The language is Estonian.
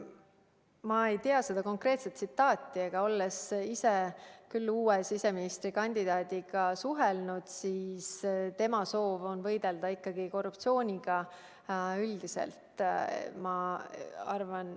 Ma ei tea seda konkreetset tsitaati, aga olles ise uue siseministri kandidaadiga suhelnud, olen kindel, et tema soov on võidelda ikkagi korruptsiooniga üldiselt.